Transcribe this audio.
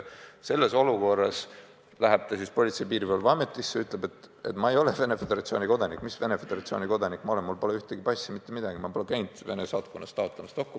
Selles olukorras läheb ta siis Politsei- ja Piirivalveametisse ja ütleb seal, et ma ei ole Venemaa Föderatsiooni kodanik – mis Venemaa kodanik ma olen, mul pole passi, mitte midagi, ma pole käinud Vene saatkonnas dokumenti taotlemas.